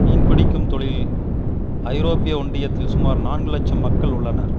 மீன் பிடிக்கும் தொழிலில் ஐரோப்பிய ஒன்றியத்தில் சுமார் நான்கு இலட்சம் மக்கள் உள்ளனர்